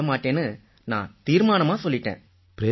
வேலையை விட மாட்டேன்னு நான் தீர்மானமா சொல்லிட்டேன்